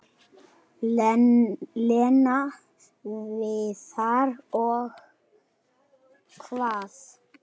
Lena, Viðar og- Og hvað?